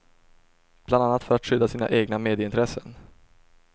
Bland annat för att skydda sina egna medieintressen.